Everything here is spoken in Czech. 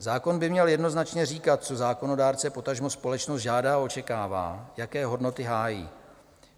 Zákon by měl jednoznačně říkat, co zákonodárce, potažmo společnost žádá a očekává, jaké hodnoty hájí.